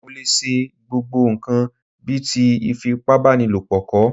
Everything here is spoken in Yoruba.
Mo lè ṣe gbogbo ǹkan bíi ti ìfipábánilo kọ̀